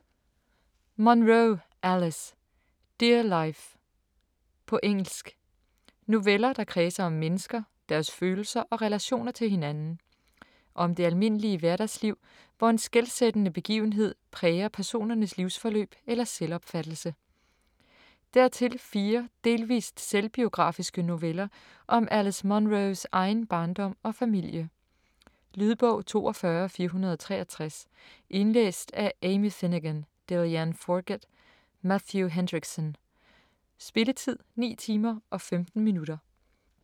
Munro, Alice: Dear life På engelsk. Noveller, der kredser om mennesker, deres følelser og relationer til hinanden. Om det almindelige hverdagsliv, hvor en skelsættende begivenhed præger personernes livsforløb eller selvopfattelse. Dertil fire delvist selvbiografiske noveller om Alice Munros egen barndom og familie. Lydbog 42463 Indlæst af Amy Finegan, Delianne Forget, Matthew Hendrickson Spilletid: 9 timer, 15 minutter.